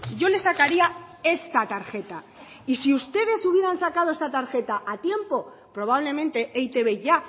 yo le sacaría esta tarjeta y si ustedes hubieran sacado esta tarjeta a tiempo probablemente e i te be ya